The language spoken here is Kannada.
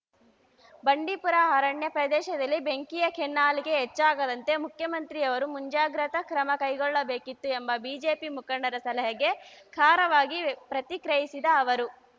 ಬಂಡೀಪುರ ಅರಣ್ಯ ಪ್ರದೇಶದಲ್ಲಿ ಬೆಂಕಿಯ ಕೆನ್ನಾಲಿಗೆ ಹೆಚ್ಚಾಗದಂತೆ ಮುಖ್ಯಮಂತ್ರಿಯವರು ಮುಂಜಾಗೃತಾ ಕ್ರಮ ಕೈಗೊಳ್ಳಬೇಕಿತ್ತು ಎಂಬ ಬಿಜೆಪಿ ಮುಖಂಡರ ಸಲಹೆಗೆ ಖಾರವಾಗಿ ಪ್ರತಿಕ್ರೆಯಿಸಿದ ಅವರು